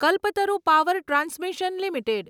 Kalpataru power transmission limited